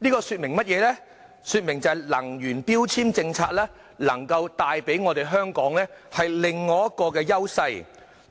這說明了能源標籤政策能帶給香港另一種優勢，